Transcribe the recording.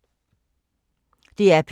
DR P2